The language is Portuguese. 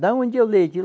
Da onde é o leite?